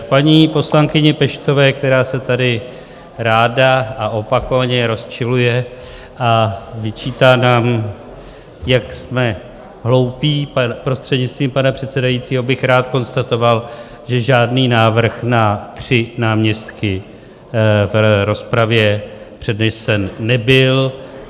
K paní poslankyni Peštové, která se tady ráda a opakovaně rozčiluje a vyčítá nám, jak jsme hloupí, prostřednictvím pana předsedajícího, bych rád konstatoval, že žádný návrh na tři náměstky v rozpravě přednesen nebyl.